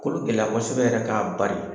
Kolo gɛlɛya kosɛbɛ yɛrɛ k'a bari.